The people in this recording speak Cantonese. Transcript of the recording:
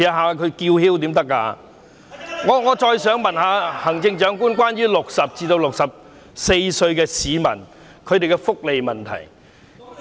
我想再問問行政長官有關60歲至64歲市民的福利問題。